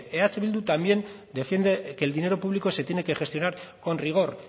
eh bildu también defiende que el dinero público se tiene que gestionar con rigor